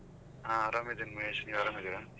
ಹಾ ಆರಾಮ್ ಇದ್ದೀನೀ ಮಹೇಶ್ ನೀವ್ ಆರಾಮ್ ಇದ್ದೀರಾ?